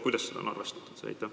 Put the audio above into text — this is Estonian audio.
Kuidas see regulatsioon on mõeldud?